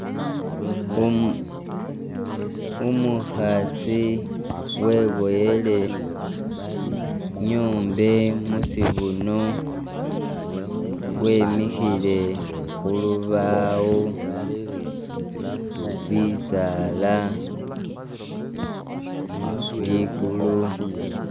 Umu umuhaasi weboyele nyombe musibuno, wemihile hulubawo, bisaala, likulu